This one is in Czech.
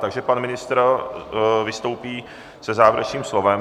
Takže pan ministr vystoupí se závěrečným slovem.